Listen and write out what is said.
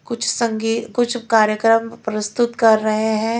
कुछ संगी कुछ कार्यक्रम प्रस्तुत कर रहे हैं।